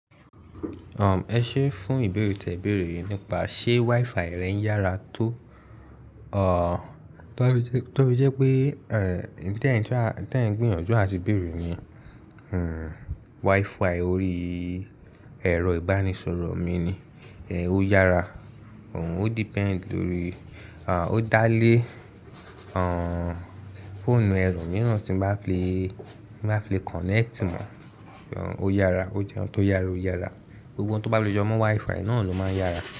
Ẹ ṣé fún ìbéèrè tí ẹ béèrè yìí nípa ṣé WiFi rẹ yára tó, tofí jẹ́ pé tí ẹ̀ ń gbìyànjú àti béèrè ni, WiFi orí ẹ̀rọ ìbánisọ̀rọ̀ mi ni, ẹ ó yára, ó depend lórí, ó dá lé fóònù ẹlo mìíràn tí ń bá fi le connect mọ̀, ó yára, ó jẹ́ ohun tó yára ó yára. Gbogbo ohun tí ó bá le jẹ mọ́ WiFi náà ló máa ń yára.